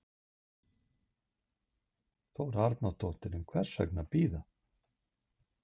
Þóra Arnórsdóttir: En hvers vegna bíða?